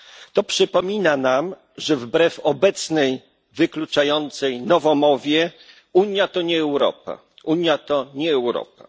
To przypomina nam, że wbrew obecnej, wykluczającej nowomowie, Unia to nie Europa.